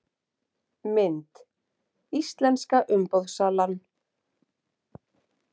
Mynd: Íslenska umboðssalan